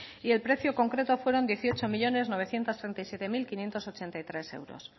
y el precio concreto fueron dieciocho millónes novecientos treinta y siete mil quinientos ochenta y tres euros